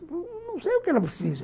Não sei o que ela precisa.